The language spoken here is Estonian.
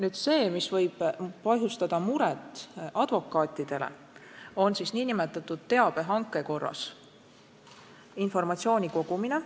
Aga see, mis võib põhjustada muret advokaatidele, on nn teabehanke korras informatsiooni kogumine.